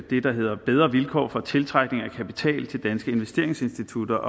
det der hedder bedre vilkår for tiltrækning af kapital til danske investeringsinstitutter